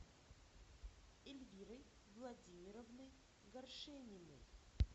эльвирой владимировной горшениной